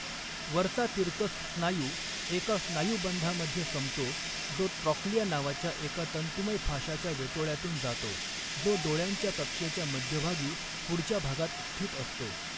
वरचा तिरकस स्नायू एका स्नायुबंधामध्ये संपतो जो ट्रॉक्लिया नावाच्या एका तंतुमय फाशाच्या वेटोळ्यातून जातो, जो डोळ्यांच्या कक्षेच्या मध्यभागी पुढच्या भागात स्थित असतो.